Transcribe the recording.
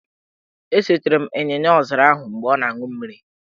E setere m ịnyịnyaọzara ahụ mgbe ọ na-an̄ụ mmiri